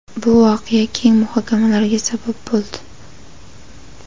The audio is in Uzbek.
Bu voqea keng muhokamalarga sabab bo‘ldi.